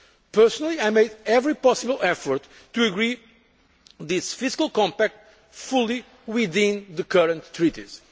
Personally, I made every possible effort to agree this fiscal compact fully within the current